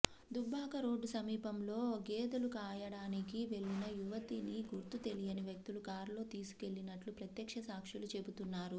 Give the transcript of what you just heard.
Dubbaka road సమీపంలో గేదెలు కాయడానికి వెళ్లిన యువతిని గుర్తు తెలియని వ్యక్తులు కారులో తీసుకెళ్లినట్లు ప్రత్యక్ష సాక్షులు చెబుతున్నారు